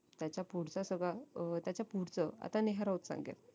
त्याच्या पुढचं सगळं अं त्याच्या पुढचं आता नेहरवच सांगेल